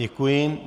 Děkuji.